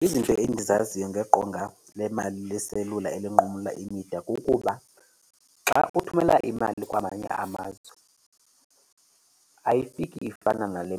Izinto endizaziyo ngeqonga lemali leselula elinqumla imida kukuba xa uthumela imali kwamanye amazwe ayifiki ifana nale,